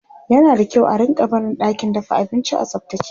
yana da kyau a rinka barin ɗakin dafa abinci a tsaftace